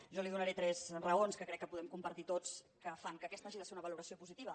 jo li donaré tres raons que crec que podem compartir tots que fan que aquesta hagi de ser una valoració positiva